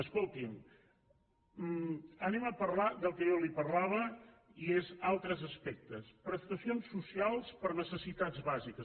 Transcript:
escoltin anem a parlar del que jo li parlava i són altres aspectes prestacions socials per necessitats bàsiques